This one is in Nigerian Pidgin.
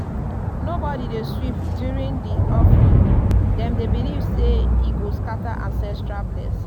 nobody dey sweep during di offering dem dey believe say e go scatter ancestral blessings.